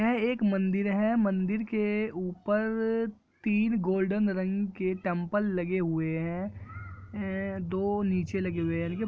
यह एक मंदिर है मदिर के ऊपर तीन गोल्डन रंग के टेंपल लगे हुए है दो नीचे लगे हुए हैं